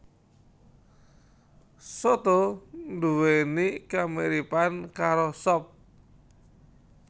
Soto nduwèni kamiripan karo sop